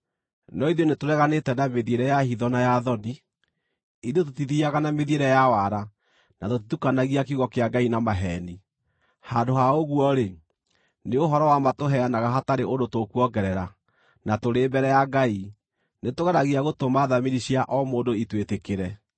No ithuĩ nĩtũreganĩte na mĩthiĩre ya hitho na ya thoni; ithuĩ tũtithiiaga na mĩthiĩre ya wara na tũtitukanagia kiugo kĩa Ngai na maheeni. Handũ ha ũguo-rĩ, nĩ ũhoro wa ma tũheanaga hatarĩ ũndũ tũkuongerera, na tũrĩ mbere ya Ngai, nĩtũgeragia gũtũma thamiri cia o mũndũ itwĩtĩkĩre.